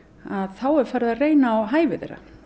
þá er farið að reyna á hæfi þeirra